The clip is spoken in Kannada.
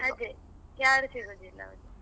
ಅದೇ ಯಾರು ಸಿಗುದಿಲ್ಲ.